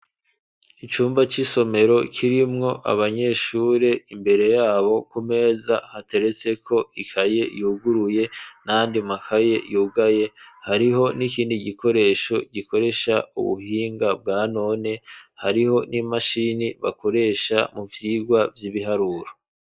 Icumba c'isomero, kirimwo abanyeshure; imbere y'abo, kumeza, hateretseko ikaye yuguruye, n'ayandi makaye yugaye; hariho n'ikini gikoresho, gikoresha ubuhinga bwa none; hariho n'imashini, bakoresha mu vyigwa vy'ibiharuro.